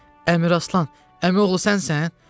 Əmiraslan, əmioğlu, sənsən?